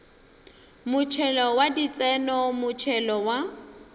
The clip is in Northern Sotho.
motšhelo wa ditseno motšhelo wa